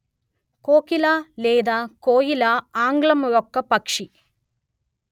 కోకిల లేదా కోయిల ఆంగ్లం ఒక పక్షి